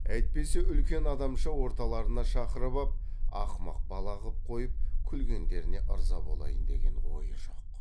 әйтпесе үлкен адамша орталарына шақырып ап ақымақ бала қып қойып күлгендеріне ырза болайын деген ойы жоқ